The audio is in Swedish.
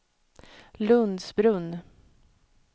Lundsbrunn